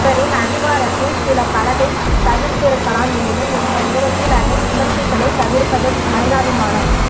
இவரின் அதிகாரத்தில் சில பலதை தவிர்த்திருக்கலாம் எனினும் இந்த நேரத்தில் அதை விமர்சிப்பதை தவிர்ப்பது மனிதாபிமானம்